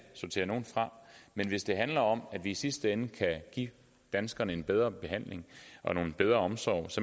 sortere nogle fra men hvis det handler om at vi i sidste ende kan give danskerne en bedre behandling og en bedre omsorg